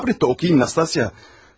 Səbr et də oxuyum Nastasya.